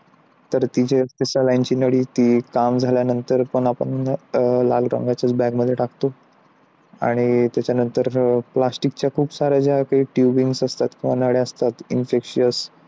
तर ती saline ची नळी जयते काम झाल्यानंतर आपण लाल रंगाच्या bag मध्ये टाकतो आणि त्याच्यानंतर plastic च्या ज्या काही tubing असतात नळया असतात. त्या inspicious